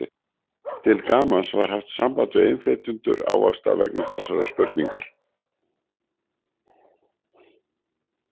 Til gamans var haft samband við innflytjendur ávaxta vegna þessarar spurningar.